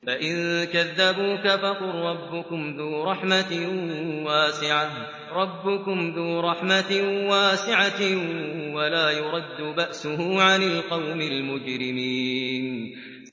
فَإِن كَذَّبُوكَ فَقُل رَّبُّكُمْ ذُو رَحْمَةٍ وَاسِعَةٍ وَلَا يُرَدُّ بَأْسُهُ عَنِ الْقَوْمِ الْمُجْرِمِينَ